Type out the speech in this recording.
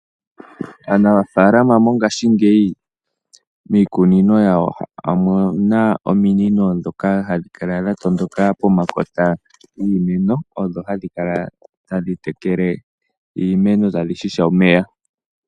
Aanafalama mongaashingeyi miikunino yawo omuna omino ndhoka hadhi kala dha tondoka po makota giimeno odho hadhi kala tadhi tekele iimeno tadhi hiha omeya.